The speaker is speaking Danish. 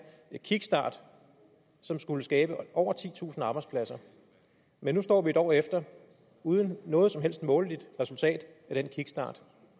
kickstart som skulle skabe over titusind arbejdspladser men nu står vi en år efter uden noget som helst måleligt resultat af den kickstart